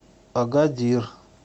агадир